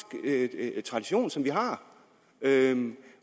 tradition som vi har